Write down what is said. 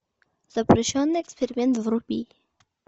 запрещенный эксперимент вруби